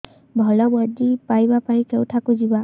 ଭଲ ମଞ୍ଜି ପାଇବା ପାଇଁ କେଉଁଠାକୁ ଯିବା